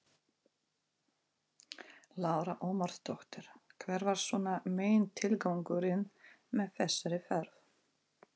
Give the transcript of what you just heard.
Lára Ómarsdóttir: Hver var svona megintilgangurinn með þessari ferð?